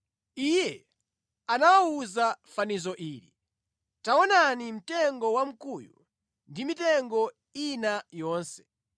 Iye anawawuza fanizo ili, “Taonani mtengo wamkuyu ndi mitengo ina yonse.